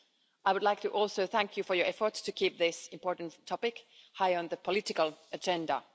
I would also like to thank you for your efforts to keep this important topic high on the political agenda.